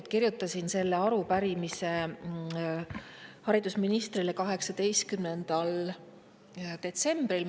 Ma kirjutasin selle arupärimise haridusministrile 18. detsembril.